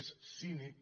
és cínic